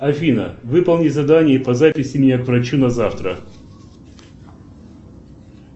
афина выполни задание по записи меня к врачу на завтра